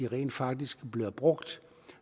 rent faktisk bliver brugt